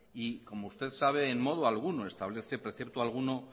y como usted sabe en modo alguno establece precepto alguno